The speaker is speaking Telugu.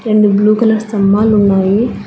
రెండు బ్లూ కలర్ స్తంబాలు ఉన్నాయి.